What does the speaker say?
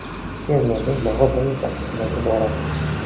Fermerning bog‘i bir necha qismdan iborat.